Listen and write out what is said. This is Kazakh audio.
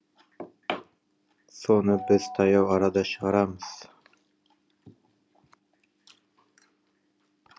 соны біз таяу арада шығарамыз